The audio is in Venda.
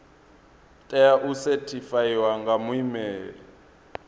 tea u sethifaiwa nga muimeli